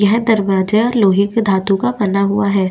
यह दरवाजा लोहे का धातु का बना हुआ है।